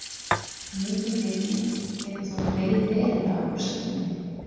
mikil rigning getur þó dregið verulega úr skyggni